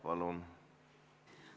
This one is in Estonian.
Palun!